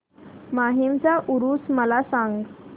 माहीमचा ऊरुस मला सांग